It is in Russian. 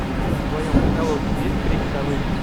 в твоем каталоге есть крик совы